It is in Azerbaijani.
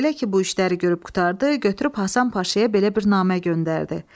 Elə ki, bu işləri görüb qurtardı, götürüb Həsən Paşaya belə bir namə göndərdi.